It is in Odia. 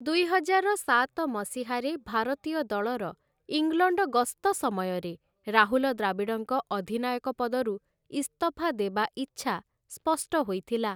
ଦୁଇହଜାର ସାତ ମସିହାରେ ଭାରତୀୟ ଦଳର ଇଂଲଣ୍ଡ ଗସ୍ତ ସମୟରେ ରାହୁଲ ଦ୍ରାବିଡ଼ଙ୍କ ଅଧିନାୟକ ପଦରୁ ଇସ୍ତଫା ଦେବା ଇଚ୍ଛା ସ୍ପଷ୍ଟ ହୋଇଥିଲା ।